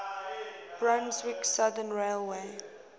brunswick southern railway